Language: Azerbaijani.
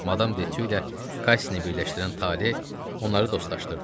Madam Detyu ilə Kasseni birləşdirən taley onları dostlaşdırdı.